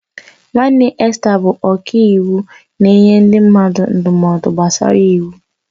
Nwanne Esther bụ ọkàiwu na-enye ndị mmadụ ndụmọdụ gbasara iwu.